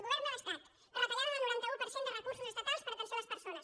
govern de l’estat retallada del noranta un per cent de recursos estatals per a atenció a les persones